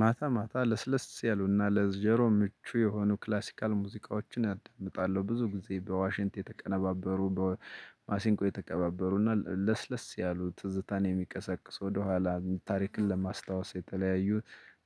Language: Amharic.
ማታ ማታ ለስለስ ያሉና ለጀሮ ምቹ የሆኑ ክላሲካል ሙዚቃዎችን አዳምጣለሁ ብዙ ጊዜ በዋሽንት የተቀነባበሩ በማሲንቆ የተቀባበሩ እና ለስለስ ያሉ ትዝታን የሚቀሰቅሱ ወደኋላ ታሪክን ለማስታወስ የተለያዩ